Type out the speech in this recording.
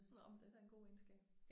Nåh men det da en god egenskab